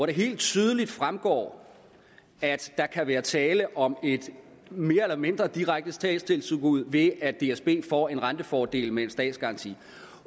det helt tydeligt fremgår at der kan være tale om et mere eller mindre direkte statstilskud ved at dsb får en rentefordel med en statsgaranti